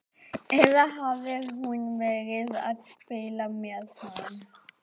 Eða hafði hún verið að spila með hann?